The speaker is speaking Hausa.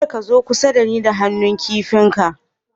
Kar ka zo kusa na ni da han'nu kipi ka